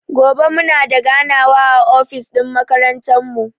Gobe muna da ganawa a ofis ɗin makarantan mu.